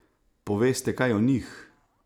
Poveste kaj o njih?